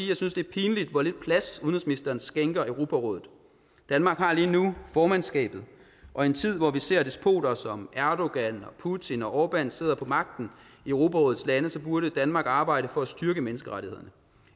jeg synes det er pinligt hvor lidt plads udenrigsministeren skænker europarådet danmark har lige nu formandskabet og i en tid hvor vi ser at despoter som erdogan putin og orban sidder på magten i europarådets lande så burde danmark arbejde for at styrke menneskerettighederne